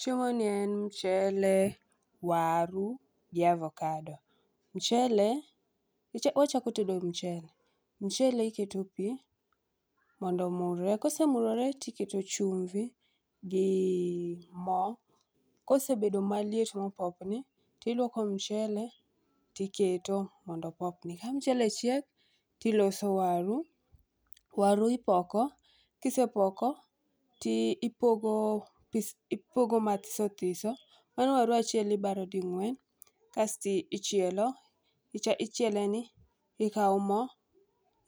Chiemoni en mchele, waru gi avocado. Mchele, ka wachako tedo mchele. Mchele iketo pi mondo omurre, kosemurore to iketo chumbi gi moo. Kosebedo maliet mopopni, tiluoko mchele tiketo mondo opopni. Ka mchele chiek, to iloso waru. Waru ipoko, kisepoko to ipogo mathisothiso. Mano waru achiel ibaro ding'wen, kasto ichielo. Ichiele ni, ikawo moo